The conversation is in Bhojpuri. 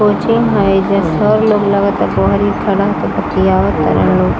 कोचिंग है इधर सर लोग लगता बहरी खड़े होकर बतियावा तारन --